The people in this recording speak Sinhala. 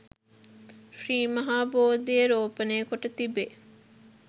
ශ්‍රී මහා බෝධිය රෝපණය කොට තිබේ.